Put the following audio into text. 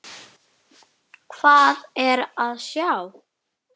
Hvað er að sjá